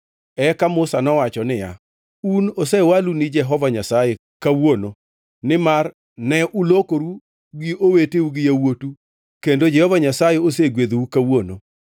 Eka Musa nowacho niya, “Un osewalu ni Jehova Nyasaye kawuono nimar ne ulokoru gi oweteu gi yawuotu kendo Jehova Nyasaye osegwedhou kawuono.”